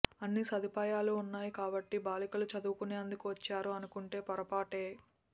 అన్ని సదుపాయాలూ ఉన్నాయి కాబట్టి బాలికలు చదువుకునేందుకు వచ్చారు అనుకుంటే పొరపాటే